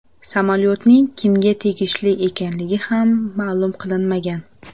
Samolyotning kimga tegishli ekanligi ham ma’lum qilinmagan.